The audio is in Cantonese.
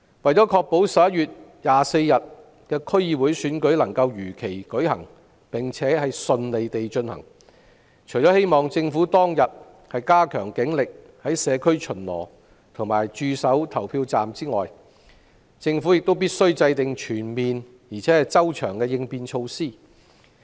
為確保11月24日的區議會選舉能夠如期並順利地舉行，希望政府當日加強警力在社區巡邏和駐守投票站，並制訂全面而周詳的應變措施。